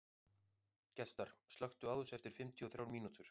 Gestar, slökktu á þessu eftir fimmtíu og þrjár mínútur.